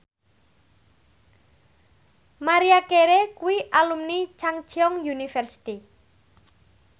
Maria Carey kuwi alumni Chungceong University